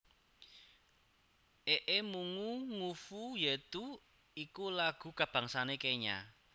Ee Mungu Nguvu Yetu iku lagu kabangsané Kenya